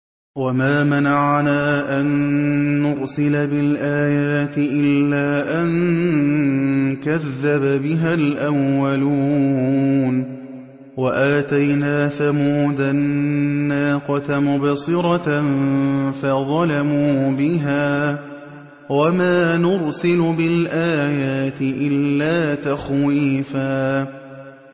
وَمَا مَنَعَنَا أَن نُّرْسِلَ بِالْآيَاتِ إِلَّا أَن كَذَّبَ بِهَا الْأَوَّلُونَ ۚ وَآتَيْنَا ثَمُودَ النَّاقَةَ مُبْصِرَةً فَظَلَمُوا بِهَا ۚ وَمَا نُرْسِلُ بِالْآيَاتِ إِلَّا تَخْوِيفًا